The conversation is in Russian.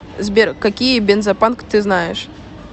сбер какие бензопанк ты знаешь